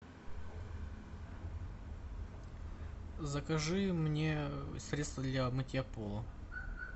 закажи мне средство для мытья пола